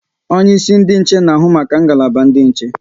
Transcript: Onye isi ndị nche na ahụ maka ngalaba ndị nche